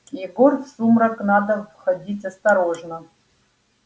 егор в сумрак надо входить осторожно